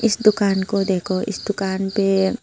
इस दुकान को देखो इस दुकान पे--